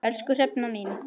Elsku Hrefna mín.